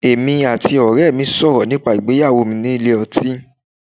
Èmi àti ọ̀rẹ́ẹ mi sọ̀rọ̀ nípa ìgbéyàwó mi nílé ọtín.